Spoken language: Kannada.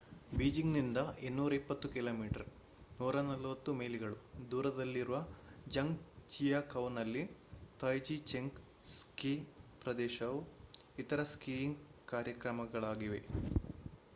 ಬೀಜಿಂಗ್‌ನಿಂದ 220 ಕಿ.ಮೀ 140 ಮೈಲಿಗಳು ದೂರದಲ್ಲಿರುವ ಝಾಂಗ್‌ಜಿಯಾಕೌನಲ್ಲಿ ತಾಯ್ಜಿಚೆಂಗ್ ಸ್ಕೀ ಪ್ರದೇಶವು ಇತರ ಸ್ಕೀಯಿಂಗ್‌ ಕಾರ್ಯಕ್ರಮಗಳಾಗಿವೆ